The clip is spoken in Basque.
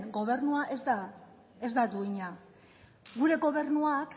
gobernua ez da duina gure gobernuak